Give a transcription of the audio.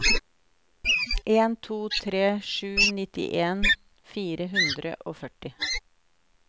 en to tre sju nittien fire hundre og førti